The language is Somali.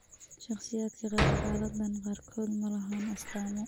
Shakhsiyaadka qaba xaaladdan qaarkood ma laha astaamo.